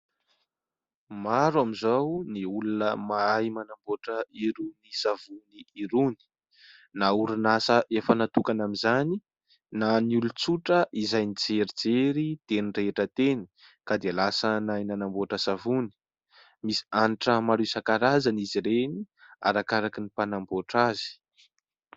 Maro amin'izao ny olona mahay manamboatra irony savony irony, na orinasa efa natokana amin'izany na ny olon-tsotra izay nijerijery teny rehetra teny ka dia lasa nahay nanamboatra savony, misy hanitra maro isan-karazany izy ireny arakaraka ny mpanamboatra azy.